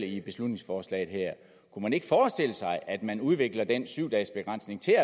i beslutningsforslaget her kunne man ikke forestille sig at man udvikler den syv dages begrænsning til